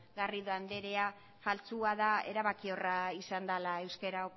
garrido andrea faltsua da erabakiorra izan dela euskara